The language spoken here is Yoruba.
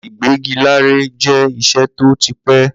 Ìgbẹ́gilére jẹ́ iṣẹ́ tó ti pẹ́.